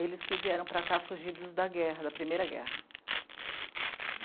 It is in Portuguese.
Eles que vieram para cá fugidos da guerra, da primeira guerra.